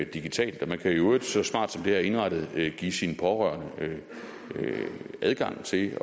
digitalt man kan i øvrigt så smart som det her er indrettet give sine pårørende adgang til